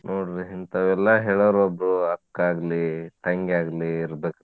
ನೋಡ್ರಿ ಇಂತಾವೆಲ್ಲಾ ಹೇಳಾವ್ರ್ ಒಬ್ರು ಅಕ್ಕಾ ಆಗ್ಲಿ, ತಂಗಿ ಆಗ್ಲಿ ಇರ್ಬೆಕ್.